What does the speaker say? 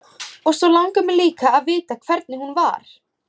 Og svo langar mig líka að vita hvernig hún var.